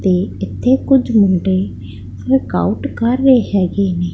ਤੇ ਇੱਥੇ ਕੁੱਝ ਮੁੰਡੇ ਵਰਕਆਊਟ ਕਰ ਰਹੇ ਹੈਗੇ ਨੇ।